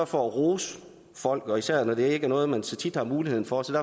for at rose folk især når det ikke er noget man så tit har mulighed for så